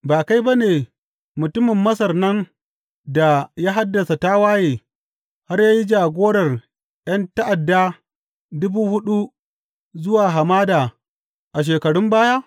Ba kai ba ne mutumin Masar nan da ya haddasa tawaye har ya yi jagorar ’yan ta’ada dubu huɗu zuwa hamada a shekarun baya?